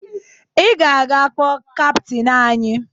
Ị ga-aga kpọọ kaptịn anyị!